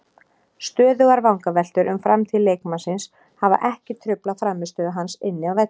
Stöðugar vangaveltur um framtíð leikmannsins hafa ekki truflað frammistöðu hans inni á vellinum.